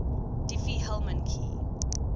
diffie hellman key